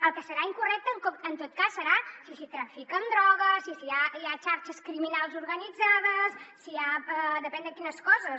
el que deu ser incorrecte en tot cas deu ser si s’hi trafica amb drogues i si hi ha xarxes criminals organitzades si hi ha depèn de quines coses